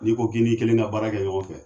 N'i ko k'i ni kelen ka baara kɛ ɲɔgɔn fɛ.